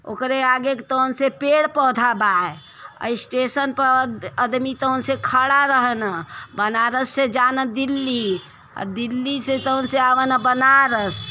ओकरे आगे तोंसे पेड़ पोधे बा स्टेशन पे आदमी तोंसे खड़ा रहे न। बनारस से जान दिल्ली और दिल्ली से तोंसे अवे न बनारस।